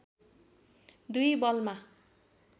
२ बलमा